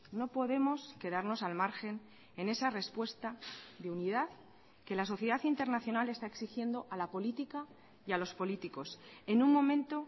no podemos quedarnos al margen en esa respuesta de unidad que la sociedad internacional está exigiendo a la política y a los políticos en un momento